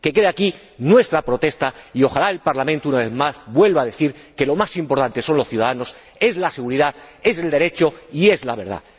Que quede aquí nuestra protesta y ojalá el Parlamento, una vez más, vuelva a decir que lo más importante son los ciudadanos, la seguridad, el Derecho y la verdad.